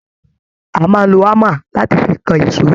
A máa n ló hámà láti fí kàn èsó..